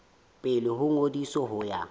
pele ho ngodiso ho ya